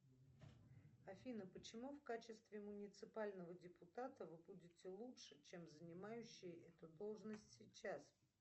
афина почему в качестве муниципального депутата вы будете лучше чем занимающий эту должность сейчас